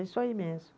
É isso aí mesmo.